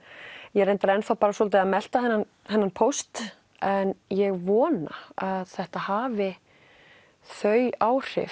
ég reyndar er enn svolítið að melta þennan þennan póst en ég vona að þetta hafi þau áhrif